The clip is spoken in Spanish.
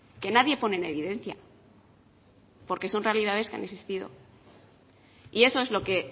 que nadie pone en evidencia porque son realidades que han existido y eso es lo que